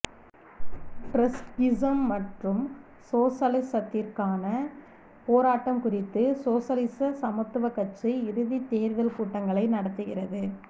Trotskyism மற்றும் சோசலிசத்திற்கான போராட்டம் குறித்து சோசலிச சமத்துவக் கட்சி இறுதித் தேர்தல் கூட்டங்களை நடத்துகிறது